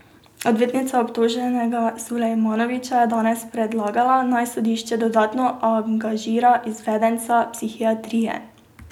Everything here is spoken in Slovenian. Odvetnica obtoženega Sulejmanovića je danes predlagala, naj sodišče dodatno angažira izvedenca psihiatrije.